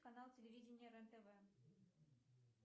канал телевидения рен тв